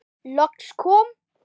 Loks kom